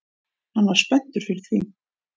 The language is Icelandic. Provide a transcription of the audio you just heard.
Hann var spenntur fyrir því